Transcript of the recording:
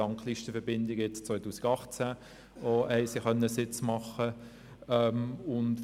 Dank Listenverbindungen haben sie auch jetzt, 2018, einen Sitz gewinnen.